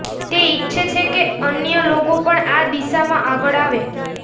તે ઇચ્છે છે કે અન્ય લોકો પણ આ દિશામાં આગળ આવે